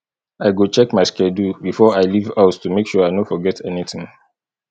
i go check my schedule before i leave house to make sure i no forget anything